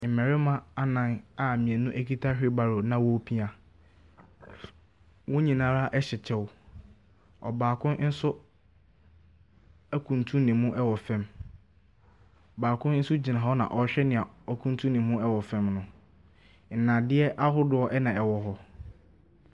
Mmarima anan a mmienu kita wheelbarrow na wɔrepia. Wɔn nyinaa hyɛ kyɛw, ɔbaako nso akuntunu ne mu wɔ fam. Baako nso gyina hɔ na ɔrehwɛ nyia w’akutunu ne mu wɔ fam no. Nnadeɛ ahodoɔ na ɛwɔ hɔ.